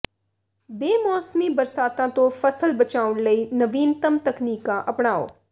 ਬੇਮੌਸਮੀ ਬਾਰਸਾਤਾਂ ਤੋਂ ਫ਼ਸਲ ਬਚਾਉਣ ਲਈ ਨਵੀਨਤਮ ਤਕਨੀਕਾਂ ਅਪਣਾਓ